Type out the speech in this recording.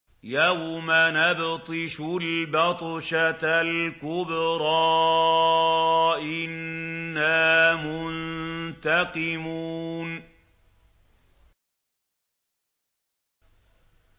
يَوْمَ نَبْطِشُ الْبَطْشَةَ الْكُبْرَىٰ إِنَّا مُنتَقِمُونَ